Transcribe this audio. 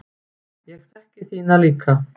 Ég þekki þína líka.